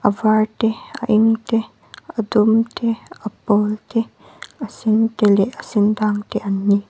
a var te a eng te a dum te a pawl te a sen te leh a sen dang te an ni.